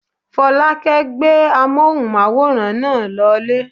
Fọlákẹ́ gbé amóhùnmáwòrán náà lọ lé